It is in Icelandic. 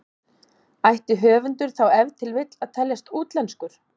Ætti höfundur þá ef til vill að teljast útlenskur?